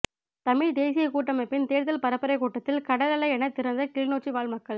தமிழ்த் தேசியக் கூட்டமைப்பின் தேர்தல் பரப்புரைக் கூட்டத்தில் கடலலையெனத் திரண்ட கிளிநொச்சி வாழ் மக்கள்